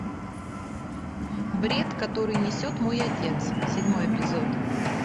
бред который несет мой отец седьмой эпизод